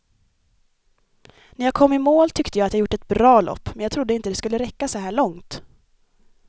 När jag kom i mål tyckte jag att jag gjort ett bra lopp, men jag trodde inte det skulle räcka så här långt.